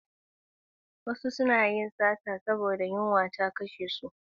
Wasu suna yin sata saboda yunwa ta kashe su.